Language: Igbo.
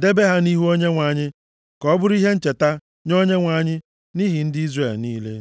debe ha nʼihu Onyenwe anyị ka ọ bụrụ ihe ncheta nye Onyenwe anyị nʼihi ndị Izrel niile.